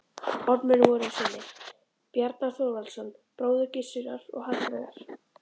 Ormur voru synir Bjarnar Þorvaldssonar, bróður Gissurar, og Hallveigar